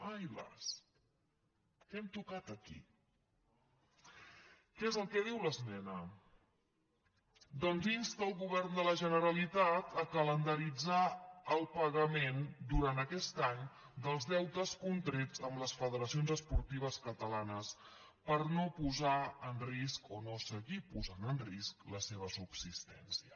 ai las què hem tocat aquí què és el que diu l’esmena doncs insta el govern de la generalitat a calendaritzar el pagament durant aquest any dels deutes contrets amb les federa·cions esportives catalanes per no posar en risc o no seguir posant en risc la seva subsistència